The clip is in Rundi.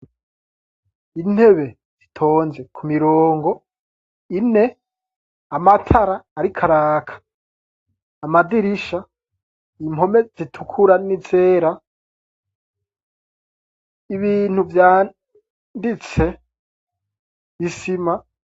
intebe zitonze ku mirongo ine amatara ari ko araka amadirisha impome zitukura n'izera ibintu vyanditse isima